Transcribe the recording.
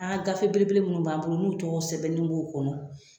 An gafe belebele minnu b'an bolo n'u tɔgɔ sɛbɛnnen b'o kɔnɔ